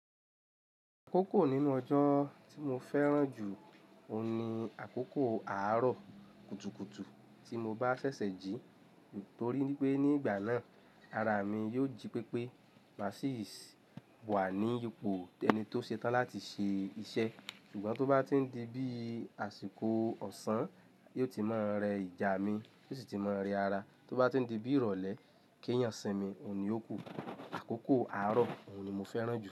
Àkókò nínú ọjọ́ tí mo fẹ́ràn jù òun ni àkókò àárọ̀ kùtùkùtù tí mo bá ṣẹ̀ṣẹ̀ jí nítorí wípé ní ìgbà náà ara mi yóò jí pépé má sì wà ní ipò ẹni tó ṣetán láti ṣe iṣẹ́ ṣùgbọ́n tó bá ti ń di bí àsìkò ọ̀sán yóò ti máa ń rẹ ìjà mi ó sì ti máa ń rẹ ara tó bá ti ń di bí ìrọ̀lẹ́ kí èèyàn sìnmi ò ní òkú. Àkókò àárọ̀ òun ni mo fẹ́ràn jù.